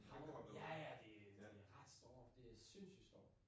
Hagl! Ja ja det det ret store det sindssygt store